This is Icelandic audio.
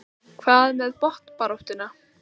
Hvað með botnbaráttuna?